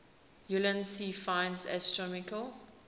ulansey finds astronomical